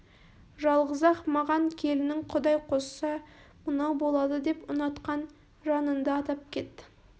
жалғыз-ақ маған келінің құдай қосса мынау болады деп ұнатқан жанынды атап кет